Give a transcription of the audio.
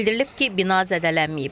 Bildirilib ki, bina zədələnməyib.